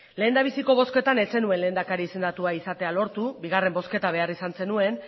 lehendabiziko bozketan ez zenuen lehendakari izendatua izatea lortu bigarren bozketa behar izan zenuen